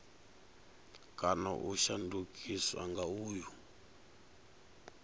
kana u shandukiswa nga uyu